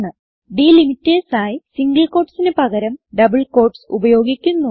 delimiters ആയി single quotesന് പകരം ഡബിൾ ക്യൂട്ടീസ് ഉപയോഗിക്കുന്നു